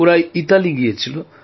ওরা ইতালি গিয়েছিল